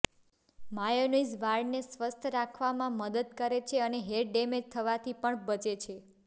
mayonnaise વાળને સ્વસ્થ રાખવામાં મદદ કરે છે અને હેર ડેમેજ થવાથી પણ બચે છે